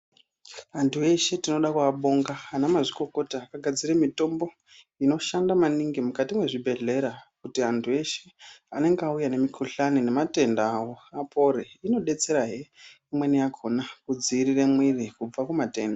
Anthu eshe tinode kuabonga anamazvikokota akagadzire mitombo inoshanda maningi mukati mwezvibgedhlera kuti anhu eshe anenge auya nemikuhlani nematenda yawo apore inodetserahe imweni yakhona kudziirire mwiiri kubve kumatenda.